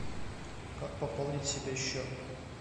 как пополнить себе счет